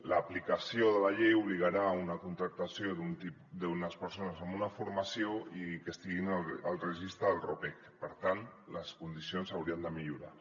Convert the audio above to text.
l’aplicació de la llei obligarà una contractació d’unes persones amb una formació i que estiguin al registre del ropec per tant les condicions s’haurien de millorar